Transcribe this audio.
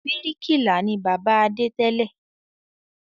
Bíríkìlà ni bàbá Adé tẹ́lẹ̀